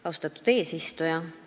Austatud eesistuja!